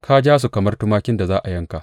Ka ja su kamar tumakin da za a yanka!